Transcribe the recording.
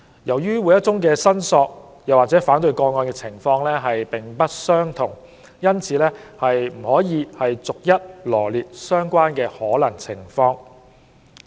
由於每宗申索或反對個案的情況並不相同，因此不可能逐一羅列相關的可能情況。